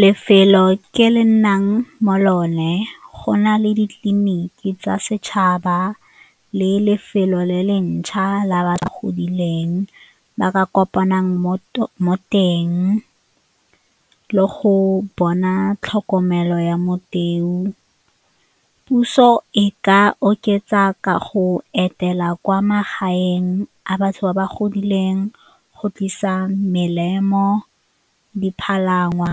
Lefelo ke le nnang mo go lone go na le ditleliniki tsa setšhaba le lefelo le le ntšhwa la ba ba godileng, ba ka kopanang mo teng le go bona tlhokomelo ya . Puso e ka oketsa ka go etela kwa magaeng a batho ba ba godileng go tlisa melemo, dipalangwa,